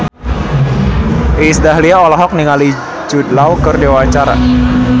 Iis Dahlia olohok ningali Jude Law keur diwawancara